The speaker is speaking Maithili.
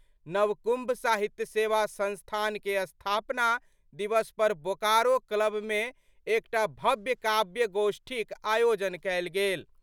नवकुम्भ साहित्य सेवा संस्थान के स्थापना दिवस पर बोकारो क्लब मे एकटा भव्य काव्य गोष्ठीक आयोजन कएल गेल।